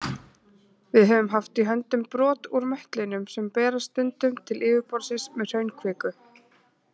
Við höfum haft í höndunum brot úr möttlinum sem berast stundum til yfirborðsins með hraunkviku.